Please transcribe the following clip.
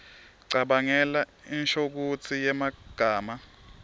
cabangela inshokutsi yemagama